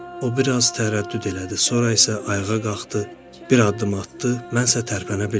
O biraz tərəddüd elədi, sonra isə ayağa qalxdı, bir addım atdı, mən isə tərpənə bilmirdim.